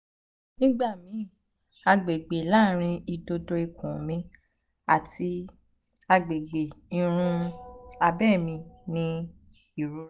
nigbamii agbegbe laarin idodo ikun mi ati um agbegbe irun um abe mi ni irora